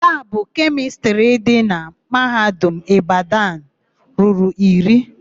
Labụ kemịstrị dị na Mahadum Ịbadanụ ruru iri.